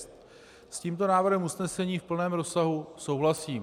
S tímto návrhem usnesení v plném rozsahu souhlasím.